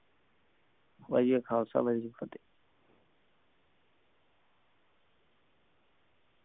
ਵਾਹਿਗੁਰੂ ਜੀ ਕਾ ਖਾਲਸਾ ਵਾਹਿਗੁਰੂ ਜੀ ਕਿ ਫਤਿਹ